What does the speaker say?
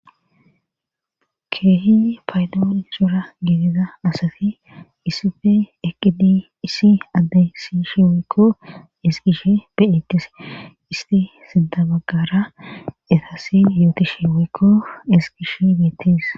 keehi paydoo isora geedida asati isife eqidi issi addeysishe weykko esgishe beetis isti sintabagara etasi yooti she woykko esqish beettis